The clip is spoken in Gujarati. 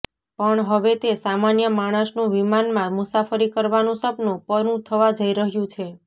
પણ હવે તે સામાન્ય માણસનું વિમાનમાં મુસાફરી કરવાનું સપનું પરું થવા જઈ રહ્યું છે